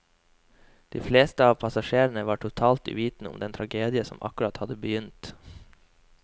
De fleste av passasjerene var totalt uvitende om den tragedien som akkurat hadde begynt.